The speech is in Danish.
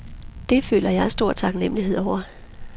Det føler jeg stor taknemmelighed over.